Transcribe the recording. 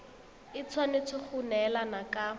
e tshwanetse go neelana ka